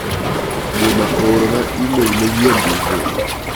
Juma oorona imel manyien duto.